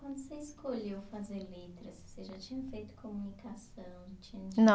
Quando você escolheu fazer letras, você já tinha feito comunicação? Não